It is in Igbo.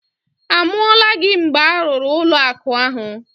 A mụọla gị mgbe a rụrụ ụlọụka ahụ?